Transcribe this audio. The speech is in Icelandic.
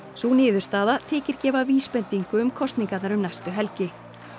sú niðurstaða þykir gefa vísbendingu um kosningarnar um næstu helgi